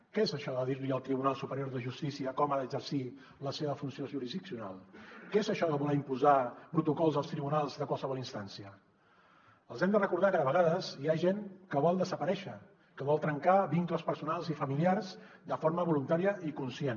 què és això de dir li al tribunal superior de justícia com ha d’exercir la seva funció jurisdiccional què és això de voler imposar protocols als tribunals de qualsevol instància els hem de recordar que de vegades hi ha gent que vol desaparèixer que vol trencar vincles personals i familiars de forma voluntària i conscient